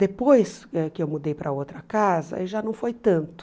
Depois eh que eu mudei para outra casa, já não foi tanto.